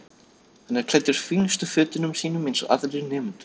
Hann er klæddur fínustu fötunum sínum eins og aðrir nemendur.